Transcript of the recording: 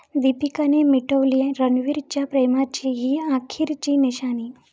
दीपिकानं मिटवली रणवीरच्या प्रेमाची 'ही' अखेरची निशाणी